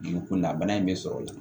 Dugu kunda bana in bɛ sɔrɔ o la